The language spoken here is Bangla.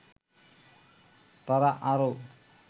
তারা আরও